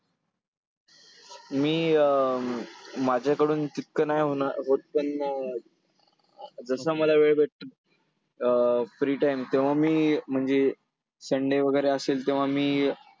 मी अं माझ्याकडून तितकं नाही होत पण जसं मला वेळ भेटतो अं free time तेव्हा मी म्हणजे sunday वगैरे असेल तेव्हा मी